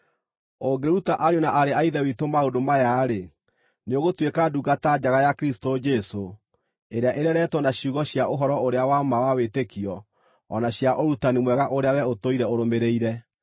Ũngĩruta ariũ na aarĩ a Ithe witũ maũndũ maya-rĩ, nĩũgũtuĩka ndungata njega ya Kristũ Jesũ, ĩrĩa ĩreretwo na ciugo cia ũhoro-ũrĩa-wa-ma wa wĩtĩkio o na cia ũrutani mwega ũrĩa wee ũtũire ũrũmĩrĩire.